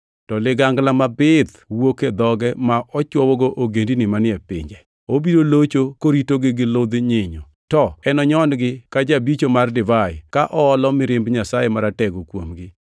To ligangla mabith wuok e dhoge ma ochwowogo ogendini manie pinje. Obiro locho koritogi gi ludh nyinyo. + 19:15 \+xt Zab 2:9\+xt* To enonyon-gi ka jabicho mar divai ka oolo mirimb Nyasaye Maratego kuomgi.